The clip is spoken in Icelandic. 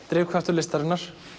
drifkraftur listarinnar